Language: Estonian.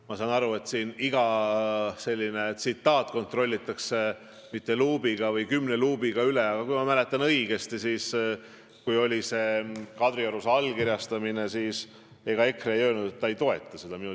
Ma saan aru, et siin iga tsitaat kontrollitakse mitte ühe luubiga, vaid kümne luubiga üle, aga kui ma mäletan õigesti, siis kui oli Kadriorus allkirjastamine, siis EKRE ei öelnud, et nad ei toeta seda eesmärki.